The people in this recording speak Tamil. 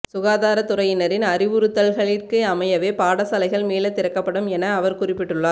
சுகாதார துறையினரின் அறிவுறுத்தல்களிற்கு அமையவே பாடசாலைகள் மீள திறக்கப்படும் என அவர் குறிப்பிட்டுள்ளார்